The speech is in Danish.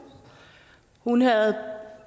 hun havde